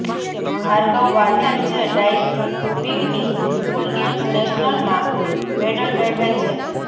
ભાર્ગવ વાઢેર જે ડાઈવિગની school games નેશનલમાં મેડલ મેળવેલ છે